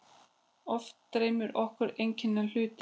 Oft dreymir okkur einkennilega hlut.